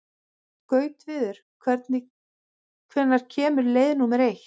Gautviður, hvenær kemur leið númer eitt?